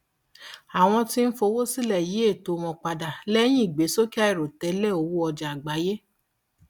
àwọn tí ń fowó sílẹ yí ètò wọn padà lẹyìn ìgbésókè àìròtẹlẹ owó ọjà lágbàáyé